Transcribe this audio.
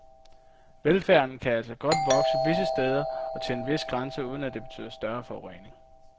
Velfærden kan altså godt vokse visse steder og til en vis grænse uden at det betyder større forurening.